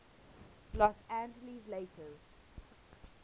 los angeles lakers